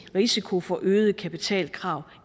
risiko for øgede kapitalkrav